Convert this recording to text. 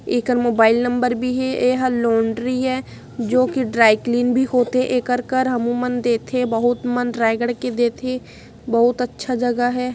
एखर mobile number भी हे एहा लॉन्ड्री ये जो कि ड्राई क्लीन भी होथे एकर कर हमुमन देथे बहुत मन रायगढ़ के देथे बहुत अच्छा जगह है।